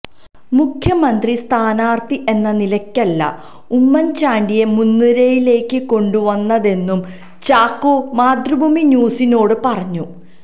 മുഖ്യമന്ത്രി സ്ഥാനാർത്ഥി എന്ന നിലയ്ക്കല്ല ഉമ്മൻ ചാണ്ടിയെ മുൻനിരയിലേക്ക് കൊണ്ടു വന്നതെന്നും ചാക്കോ മാതൃഭൂമി ന്യൂസിനോട് പറഞ്ഞു